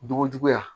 Bogojuguya